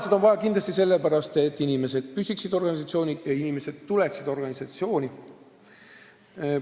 Seda on vaja kindlasti sellepärast, et inimesed püsiksid organisatsioonis ja tuleksid sinna tööle.